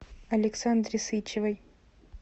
александре сычевой